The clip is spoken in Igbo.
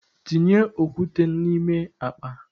Tinye okwute na ime akpa!